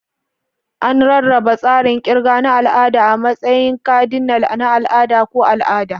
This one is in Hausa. An rarraba tsarin kirga na al'ada a matsayin kadinal, na al'ada, ko al'ada.